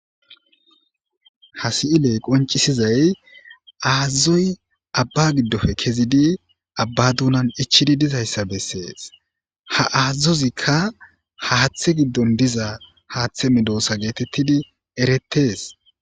Ha si'iley qoncisizay aazazoy abba giddofe kezidi abba dunan ichidi dizayssa bessees ha aazazozikka haaththe giddon diza haaththe midoosa geetettidi eretes